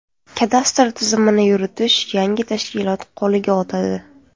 Kadastr tizimini yuritish yangi tashkilot qo‘liga o‘tadi.